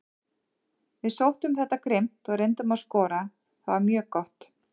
Við sóttum þetta grimmt og reyndum að skora, það var mjög gott.